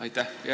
Aitäh!